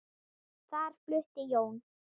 Þar flutti Jón